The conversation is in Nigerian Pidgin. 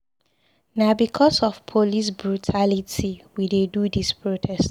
Na because of police brutality we de do dis protest.